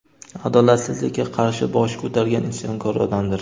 adolatsizlikka qarshi bosh ko‘targan isyonkor odamdir.